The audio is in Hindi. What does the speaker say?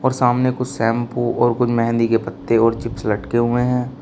सामने कुछ शैंपू और कुछ मेहंदी के पत्ते और चिप्स लटके हुए हैं।